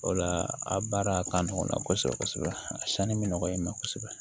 O la a baara ka nɔgɔn kosɛbɛ kosɛbɛ a sanni bɛ nɔgɔya i ma kosɛbɛ